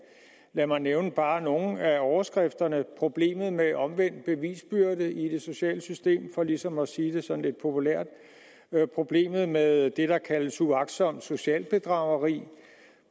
lad mig nævne bare nogle af overskrifterne problemet med omvendt bevisbyrde i det sociale system for ligesom at sige det sådan lidt populært problemet med det der kaldes uagtsomt socialt bedrageri